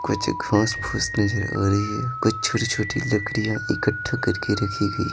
कुछ घास-फुस नजर आ रही है कुछ छोटी-छोटी लकड़ियां इकट्ठा करके रखी गयी ।